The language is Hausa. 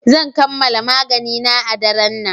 Zan kammala maganina a daren nan.